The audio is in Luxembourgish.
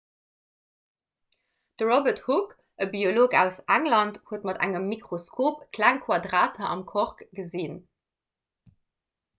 de robert hooke e biolog aus england huet mat engem mikroskop kleng quadrater am kork gesinn